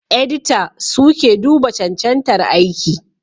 Edita suke duba cancantar aiki